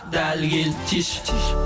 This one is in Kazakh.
дәл келді тиші тиші